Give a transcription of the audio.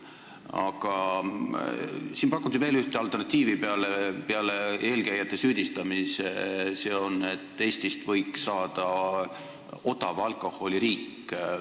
Aga siin pakuti veel ühte alternatiivi peale eelkäijate süüdistamise: see on, et Eestist võiks saada odava alkoholi riik.